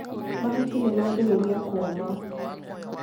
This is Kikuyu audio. Mahuti nĩmaambĩrĩria kũũma.